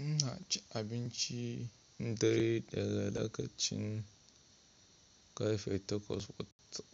Ina cin abinci, na dare daga lokacin karfe takwas